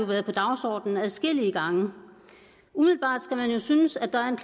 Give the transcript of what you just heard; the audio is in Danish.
være på dagsordenen adskillige gange umiddelbart skulle man jo synes at der er en